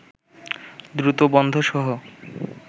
দ্রুত বন্ধসহ